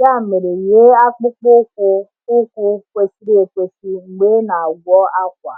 ya mere yie akpụkpọ ụkwụ ụkwụ kwesịrị ekwesị mgbe ị na-agwọ akwa.